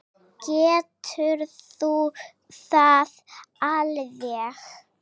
Geturðu það alveg?